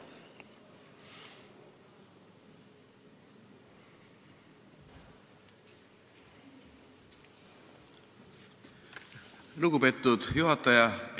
Lugupeetud juhataja!